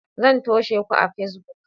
Zan toshe ku a Facebook.